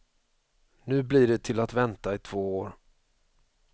Nu blir det till att vänta i två år.